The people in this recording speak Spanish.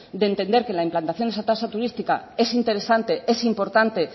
de entender que la implantación de esa tasa turística es interesante es importante